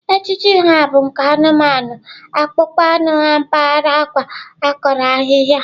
Ejiji ha bụ nke anụmanụ akpụkpọ anụ mpaghara akwa, akọrọ ahịhịa.